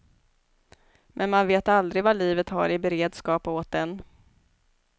Men man vet aldrig vad livet har i beredskap åt en.